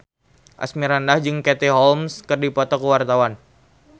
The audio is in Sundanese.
Asmirandah jeung Katie Holmes keur dipoto ku wartawan